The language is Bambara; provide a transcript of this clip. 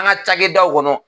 An ka cakɛdaw kɔnɔ.